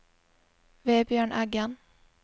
Vebjørn Eggen